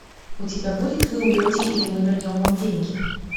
у тебя будет вы умрете или мы вернем вам деньги